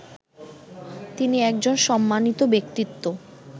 তিনি একজন সম্মানিত ব্যক্তিত্ব